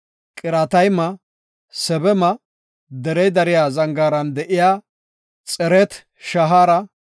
Qiratayma, Sebama, derey dariya zangaaran de7iya Xeret-Shahaare,